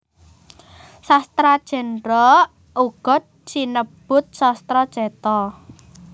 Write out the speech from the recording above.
Sastra Jendra uga sinebut Sastra Cetha